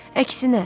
Əksinə.